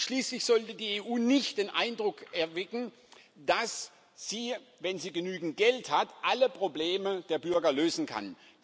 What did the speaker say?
Und schließlich sollte die EU nicht den Eindruck erwecken, dass sie, wenn sie genügend Geld hat, alle Probleme der Bürger lösen kann.